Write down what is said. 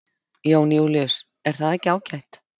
Jón Júlíus: Er það ekki ágætt?